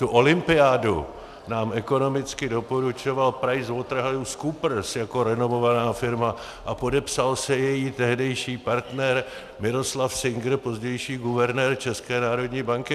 Tu olympiádu nám ekonomicky doporučoval PricewaterhouseCoopers jako renomovaná firma a podepsal se její tehdejší partner Miroslav Singer, pozdější guvernér České národní banky.